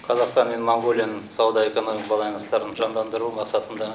қазақстан мен моңғолияның сауда экономикалық байланыстарын жандандыру мақсатында